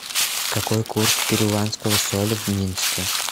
какой курс перуанского соля в минске